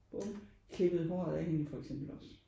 Klippet håret af hende for eksempel også